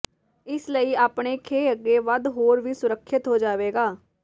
ਇਸ ਲਈ ਆਪਣੇ ਖੇਹ ਅੱਗੇ ਵੱਧ ਹੋਰ ਵੀ ਸੁਰੱਖਿਅਤ ਹੋ ਜਾਵੇਗਾ